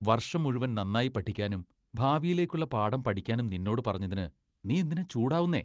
വർഷം മുഴുവൻ നന്നായി പഠിക്കാനും, ഭാവിയിലേക്കുള്ള പാഠം പഠിക്കാനും നിന്നോട് പറഞ്ഞതിന് നീ എന്തിനാ ചൂടാവുന്നെ?